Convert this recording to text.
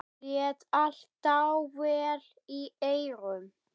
Lét allt dável í eyrum.